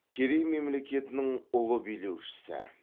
керей мемлекетінің ұлы билеушісі